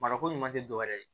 Marako ɲuman tɛ dɔwɛrɛ ye